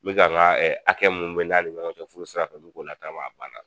N bɛ ka n ka hakɛ mun bɛ n n'a ni ɲɔgɔn cɛ furu sirafɛ n mɛ k'o latagama a banna.